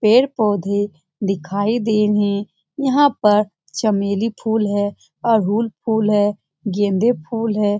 पेड़-पौधे दिखाई दे रहे हैं। यहां पर चमेली फुल है। और अड़हुल फुल है। गेंदे फुल है।